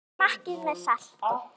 Smakkið til með salti.